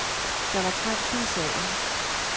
Der var trængsel i salen.